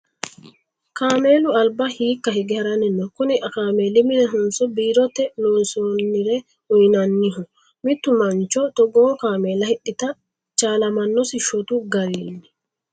Kaamelu alba hiikka hige haranni no? Kuni kaameli minihonso biirote loosasinera uyiinannoho? Mittu mancho togoo kaamella hidhata chaalamannosi shotu garii?